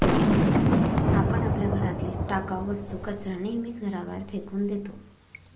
आपण आपल्या घरातील टाकाव वस्तू, कचरा नेहमीच घराबाहेर फेकून देतो.